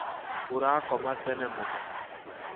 ũrakoma tene mũno